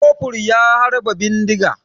Kofur ya harba bindiga.